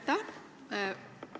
Aitäh!